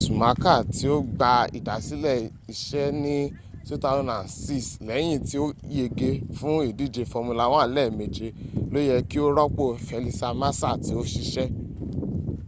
sumaka ti o gba idasile ise ni 2006 leyin ti o yege fun idije formula 1 lemeje lo ye ki o ropo felipe masa ti o sise